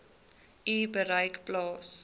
u bereik plaas